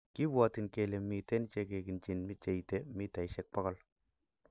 Kibwotin kele miten che kiginchin che ite �100m.